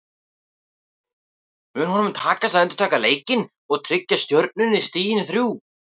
Mun honum takast að endurtaka leikinn og tryggja Stjörnunni stigin þrjú?